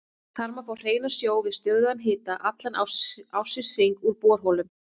Þar má fá hreinan sjó við stöðugan hita allan ársins hring úr borholum.